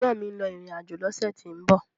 Ẹ̀gbọ́n mi ń lọ ìrìn àjò lọ́sẹ̀ tí ń bọ̀